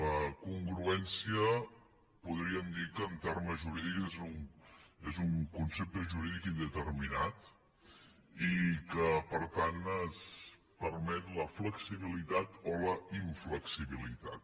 la congruèn cia podríem dir que en termes jurídics és un concepte jurídic indeterminat i que per tant permet la flexibilitat o la inflexibilitat